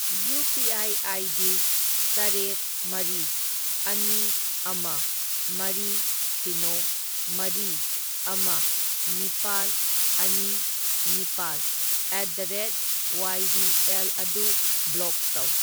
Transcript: UPI. ID. ꯇꯔꯦꯠ ꯃꯔꯤ ꯑꯅꯤ ꯑꯃ ꯃꯔꯤ ꯁꯤꯅꯣ ꯃꯔꯤ ꯑꯃ ꯅꯤꯄꯥꯜ ꯑꯅꯤ ꯅꯤꯄꯥꯜ at the rate Y B L ꯑꯗꯨ ꯕ꯭ꯂꯣꯛ ꯇꯧ꯫